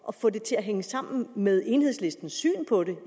at få det til at hænge sammen med enhedslistens syn på det